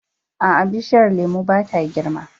A'a, bishiyar lemun ba ta girma.